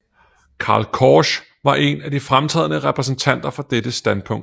Karl Korsch var en af de fremtrædende repræsentanter for dette standpunkt